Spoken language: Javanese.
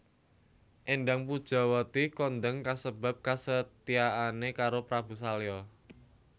Éndang Pujawati kondang kasebab kesetiaane karo Prabu Salya